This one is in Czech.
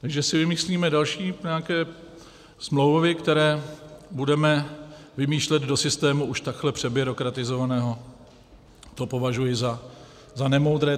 Takže si vymyslíme další nějaké smlouvy, které budeme vymýšlet do systému už takhle přebyrokratizovaného, to považuji za nemoudré.